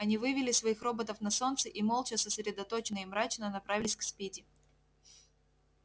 они вывели своих роботов на солнце и молча сосредоточенно и мрачно направились к спиди